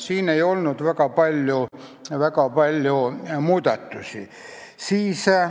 Siin ei olnud väga palju muudatusi.